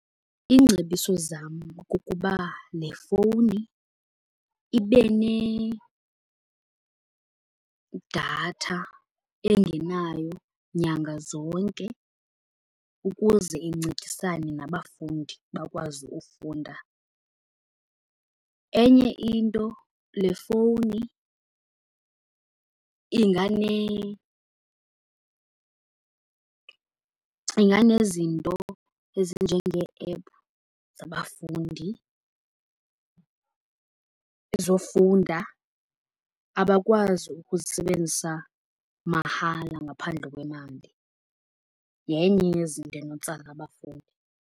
Iingcebiso zam kukuba le fowuni ibe nedatha engenayo nyanga zonke ukuze incedisane nabafundi bakwazi ufunda. Enye into le fowuni inganezinto ezinjengee-app zabafundi ezofunda. Abakwazi ukuzisebenzisa mahala ngaphandle kwemali. Yenye yezinto enotsala abafundi.